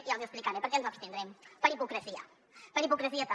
i els hi explicaré per què ens abstindrem per hipocresia per hipocresia també